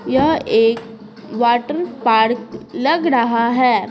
यह एक water park लग रहा है।